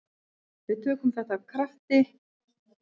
Við töluðum af krafti um þetta.